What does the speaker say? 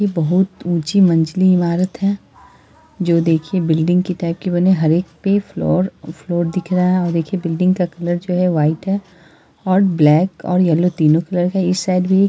यह बहुत ऊंची मंजली इमारत है | जो देखिए बिल्डिंग के टाइप की बनी हर एक पे फ्लोर फ्लोर दिख रहा है | देखिए बिल्डिंग का कलर जो है वाइट है और ब्लैक और येलो तीनो कलर है | इस साइड भी --